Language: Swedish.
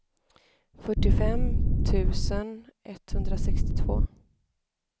fyrtiofem tusen etthundrasextiotvå